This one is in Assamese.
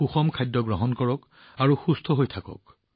সুষম খাদ্য গ্ৰহণ কৰক আৰু সুস্থ হৈ থাকক